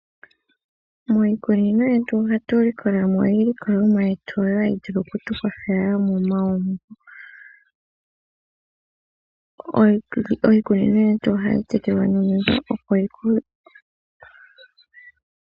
Miikununo yetu ohatu likolamo iilikolomwa yetu hayi vulu okukwathela momagumbo . Iikunino yeti ohayi tekelwa nomeya .